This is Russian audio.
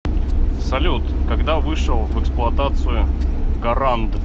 салют когда вышел в эксплуатацию гаранд